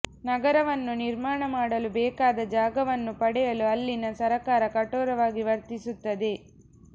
ನಗರವನ್ನು ನಿರ್ಮಾಣ ಮಾಡಲು ಬೇಕಾದ ಜಾಗವನ್ನು ಪಡೆಯಲು ಅಲ್ಲಿನ ಸರಕಾರ ಕಠೊರವಾಗಿ ವರ್ತಿಸುತ್ತದೆ